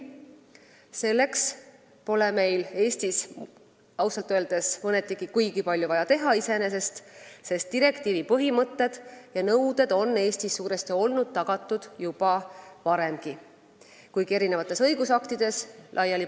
Ausalt öeldes pole Eestis vaja selleks iseenesest kuigi palju teha, sest direktiivi põhimõtted ja nõuded on meil suuresti olnud tagatud juba varemgi, kuigi need on paiknenud eri õigusaktides laiali.